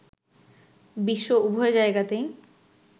বিশ্ব উভয় জায়গাতেই